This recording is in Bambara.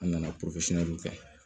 An nana kɛ